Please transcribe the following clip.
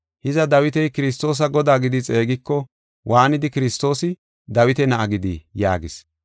Hiza, Dawiti Kiristoosa Godaa gidi xeegiko, waanidi Kiristoosi Dawita na7a gidii?” yaagis.